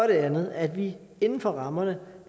det andet er at vi inden for rammerne